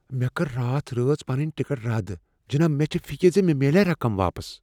مےٚ کٔر راتھ رٲژ پنٕنۍ ٹکٹ رد، جناب۔ مےٚ چھےٚ فکر ز مےٚ میلیاہ رقم واپس۔